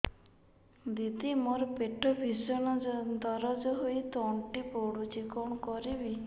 ଦିଦି ମୋର ପେଟ ଭୀଷଣ ଦରଜ ହୋଇ ତଣ୍ଟି ପୋଡୁଛି କଣ କରିବି